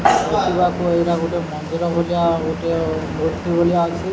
ଦେଖିବାକୁ ଏଇଟା ଗୋଟେ ମନ୍ଦିର ଭଳିଆ ଗୋଟିଏ ମୂର୍ତ୍ତି ଭଳିଆ ୟାଛି ।